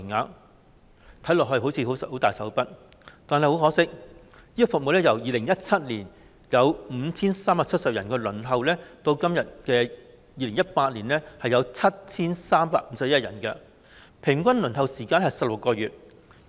看起來，政府似乎很大手筆，但很可惜，這項服務已由2017年有 5,370 人輪候增至2018年有 7,351 人，平均輪候時間是16個月。